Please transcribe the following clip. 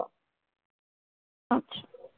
अच्छा.